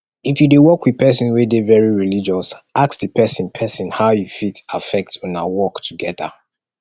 if you de work with persin wey de very religious ask di persin persin how e fit affect una work together